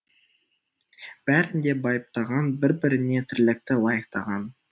бәрін де байыптаған бір біріне тірлікті лайықтаған